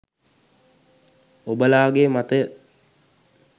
ඔබලාගේ මතය